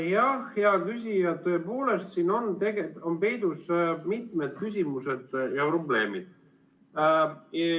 Jah, hea küsija, tõepoolest, siin on peidus mitmed küsimused ja probleemid.